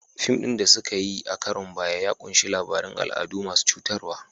Fim ɗin da suka yi a karon baya ya ƙunshi labarun al'adu masu cutarwa.